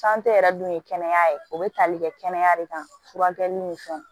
yɛrɛ dun ye kɛnɛya ye o bɛ tali kɛ kɛnɛya de kan furakɛli ni fɛnw